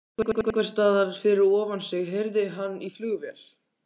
Einhversstaðar fyrir ofan sig heyrði hann í flugvél.